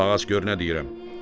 Qulaq as gör nə deyirəm.